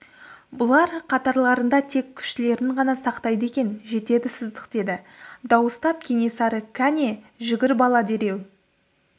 бұлар қатарларында тек күштілерін ғана сақтайды екен жетеді сыздық деді дауыстап кенесары кәне жүгір бала дереу